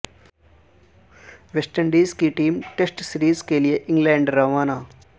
waste Indies کی team test series کیلئے England روانہ